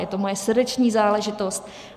Je to moje srdeční záležitost.